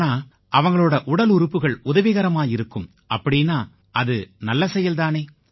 ஆனா அவங்களோட உடலுறுப்புகள் உதவிகரமா இருக்கும் அப்படீன்னா அது நல்ல செயல் தானே